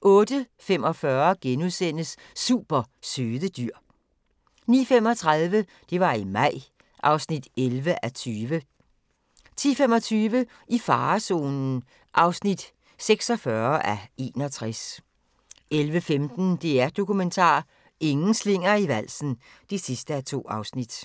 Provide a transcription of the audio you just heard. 08:45: Super søde dyr * 09:35: Det var i maj (11:20) 10:25: I farezonen (46:61) 11:15: DR-Dokumentar – Ingen slinger i valsen (2:2)